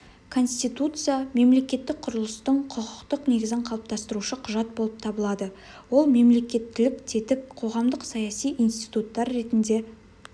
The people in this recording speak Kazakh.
конституция мемлекеттік құрылыстың құқықтық негізін қалыптастырушы құжат болып табылады ол мемлекеттілік тетік қоғамдық саяси институттар ретінде